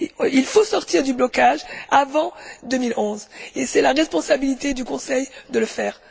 Il faut sortir du blocage avant la fin 2011, et c'est la responsabilité du Conseil de le faire.